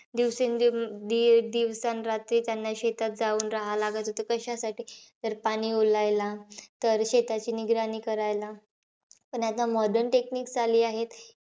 दिवसे अं दि दिवसांरात्री त्यांना शेतात जाऊन राहावं लागत होतं. कशासाठी? तर पाणी ओलायला. तर शेताची निगराणी करायला. पण आता modern techniques आली आहेत.